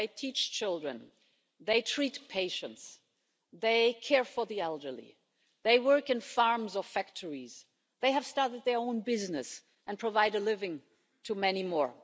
They teach children, they treat patients, they care for the elderly, they work in farms or factories, they have started their own businesses and provide a living to many more.